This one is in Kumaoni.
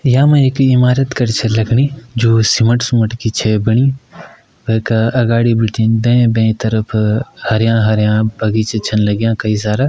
यामा एक ईमारत खड़ी छा लगणी जो सीमेंट -सुमेंट की छै बणी वेका अगाडि भिटिन दैं-बैं तरफ हरयां-हरयां बगीचा छन लाग्यां कई सारा।